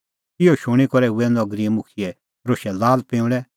इहअ शूणीं करै हुऐ नगरीए मुखियै रोशै लालपिंऊंल़ै